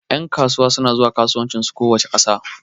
Ƴan kasuwa suna zuwa kasuwancin su kowace ƙasa